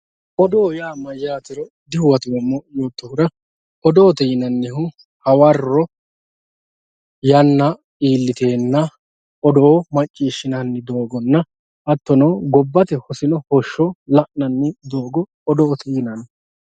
odoo yaa mayyaatero dihuwatoommo yoottohura odoote yinannihu hawarro yanna iilliteenna odoo macciishshinanni doogonna hattono gobbate hosino hoshshso la'nanni doogo odoote yinanni